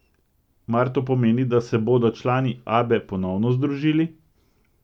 Mar to pomeni, da se bodo člani Abbe ponovno združili?